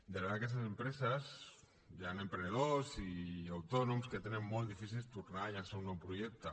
darrere d’aquestes empreses hi han emprenedors i autònoms que tenen molt difícil tornar a llançar un nou projecte